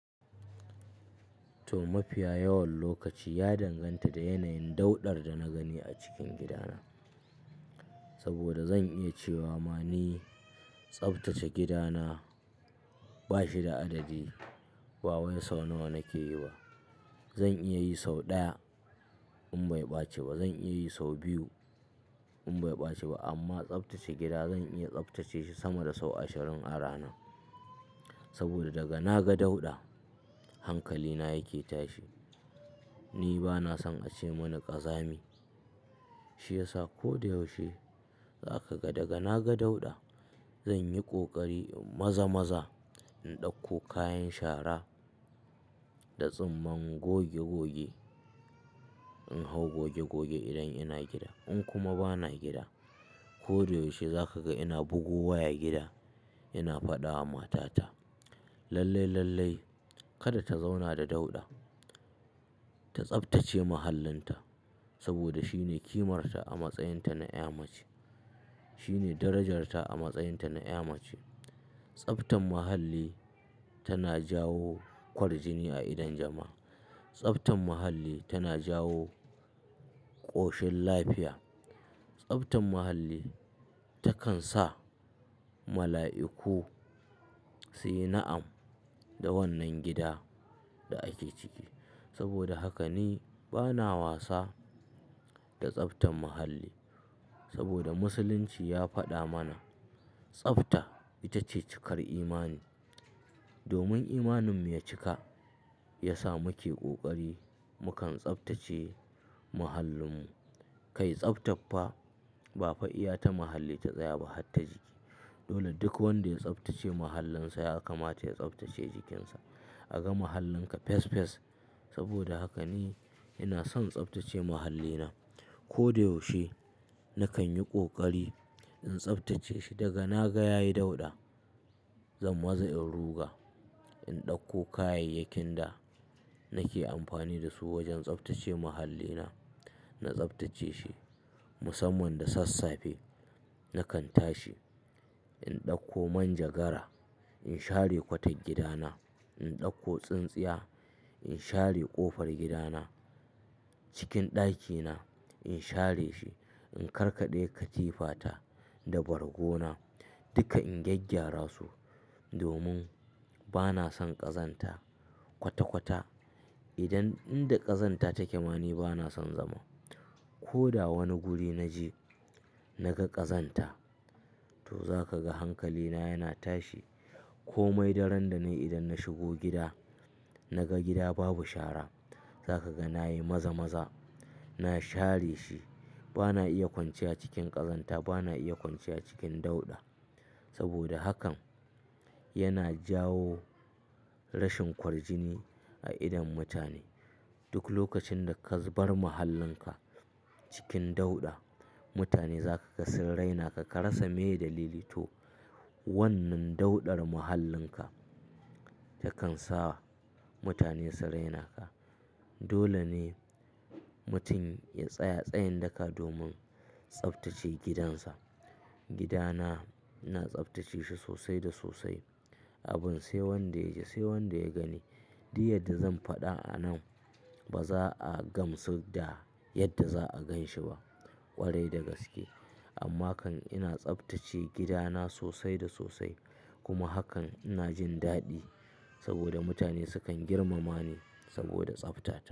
To, mafiya yawan lokaci ya danganta da yanayin dauɗar da na gani a cikin gidana. Saboda zan iya cewa ma ni tsaftace gidana ba shi da adadi. Ba way sau nawa nake yi ba. Zan iya yi sau ɗaya in bai ɓaci ba, zan iya yi sau biyu in bai ɓaci ba. Amma tsaftace gida zan iya tsaftace shi sama da sau ashirin a rana. Saboda daga na ga dauɗa hankalina yake tashi. Ni ba na son a ce mani ƙazami. Shi yasa ko da yaushe za ka ga daga na ga dauɗa zan yi ƙoƙari maza-maza in ɗauko kayan shara da tsumman goge-goge. In hau goge-goge idan ina gida. In kuma ba na gida, ko da yaushe za ka ga ina bugo waya gida ina faɗa wa matata lallai-lallai kada ta zauna da dauɗa. Ta tsaftace mahallinta saboda shine kimarta a matsayinta na ƴa mace. Shine darajarta a matsayinta na ƴa mace. Tsabtan mahalli tana jawo ƙwarjini a idon jama'a. Tsabtan mahalli tana jawo ƙoshin lafiya. Tsabtan mahalli takan sa mala'iku su yi na'am da wannan gida da ake ciki. Saboda haka ni ba na wasa da tsaftan mahalli. Saboda Musulunci ya faɗa mana tsafta ita ce cikar imani. Domin imaninmu ya cika, ya sa muke ƙoƙari mukan tsaftace mahallinmu. Kai tsafta fa ba fa'iya ta mahalli ta tsaya ba har ta jiki. Dole duk wanda ya tsaftace mahallinsa ya kama ta ya tsaftace jikinsa. A ga mahallinka fes fes. Saboda haka ni ina son tsaftace mahallina. Ko da yaushe nakan yi ƙoƙari in tsaftace shi daga na ga ya yi dauɗa. Zan maza'an ruga, in ɗauko kayayyakin da nake amfani da su wajen tsaftace mahallina. Na tsaftace shi musamman da sassafe nakan tashi. In ɗauko man jagara, in share kwatar gidana. In ɗauko tsintsiya, in share ƙofar gidana. Cikin ɗakina in share shi. In karkade katifata da bargo na duka in gyaggyara su domin ba na son ƙazanta kwata-kwata. Idan inda ƙazanta take ma ni ba na son zama. Ko da wani guri na je na ga ƙazanta to za ka ga hankalina yana tashi. Komai daren da ne idan na shigo gida na ga gida babu shara za ka ga na yi maza-maza. Na share shi. Ba na iya kwanciya cikin ƙazanta, ba na iya kwanciya cikin dauɗa. Saboda hakan yana jawo rashin ƙwarjini a idon mutane. Duk lokacin da ka bar mahallinka cikin dauɗa, mutane za ka ga sun raina ka. Ka rasa mai da litin. To, wannan dauɗar mahallinka takan sa mutane su raina ka. Dole ne mutum ya tsaya tsayin daka domin tsaftace gidansa. Gidana na tsaftace shi sosai da sosai. Abin sai wanda ya je, sai wanda ya gani. Diyar da zan faɗa a nan ba za a gamsu da yadda za a gan shi ba ƙwarai da gaske. Amma kan ina tsaftace gidana sosai da sosai. Kuma hakan ina jin daɗi saboda mutane sukan girmama ni saboda tsafta.